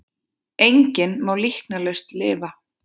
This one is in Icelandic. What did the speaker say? Enginn má líknarlaust lifa.